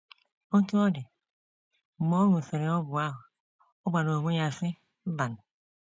Otú ọ dị, mgbe ọ ṅụsịrị ọgwụ ahụ, ọ gwara onwe ya, sị: ‘ Mbanụ.